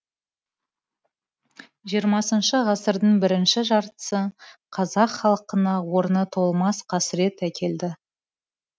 хх ғасырдың бірінші жартысы қазақ халқына орны толмас қасырет әкелді